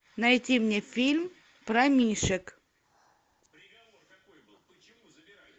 найти мне фильм про мишек